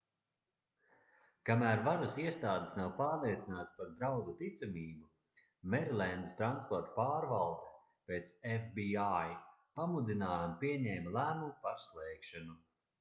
kamēr varas iestādes nav pārliecinātas par draudu ticamību merilendas transporta pārvalde pēc fbi pamudinājuma pieņēma lēmumu par slēgšanu